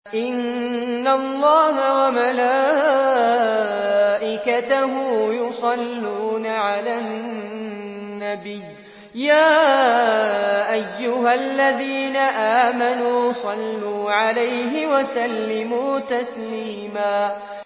إِنَّ اللَّهَ وَمَلَائِكَتَهُ يُصَلُّونَ عَلَى النَّبِيِّ ۚ يَا أَيُّهَا الَّذِينَ آمَنُوا صَلُّوا عَلَيْهِ وَسَلِّمُوا تَسْلِيمًا